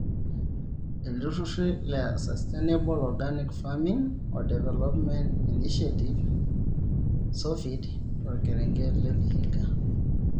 Ilrururi le Sustainable organic farming oo development inishietive (SOFID) torkerenket le vihiga.